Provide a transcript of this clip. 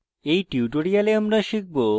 in tutorial আমরা শিখব